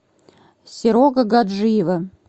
серого гаджиева